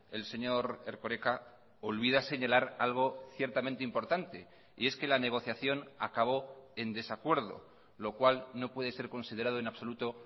el señor erkoreka olvida señalar algo ciertamente importante y es que la negociación acabó en desacuerdo lo cual no puede ser considerado en absoluto